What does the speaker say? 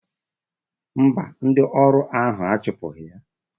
Mba, ndị ọrụ ahụ achụpụghị ya.